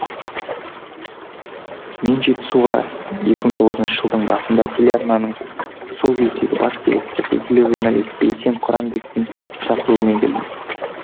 мен жетісуға екі мың тоғызыншы жылдың басында телеарнаның сол кездегі бас директоры белгілі журналист бейсен құранбектің шақыруымен келдім